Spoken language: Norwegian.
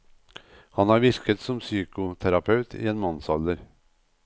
Han har virket som psykoterapeut i en mannsalder.